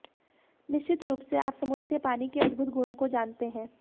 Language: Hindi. निश्चित रूप से आप समुद्र के पानी के अद्भुत गुणों को जानते हैं